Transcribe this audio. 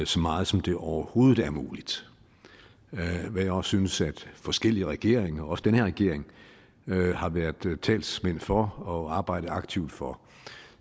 så meget som det overhovedet er muligt hvad jeg også synes forskellige regeringer også den her regering har været talsmænd for og arbejdet aktivt for